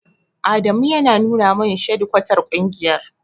Adamu ya nuna min shadikwatar ƙungiyar.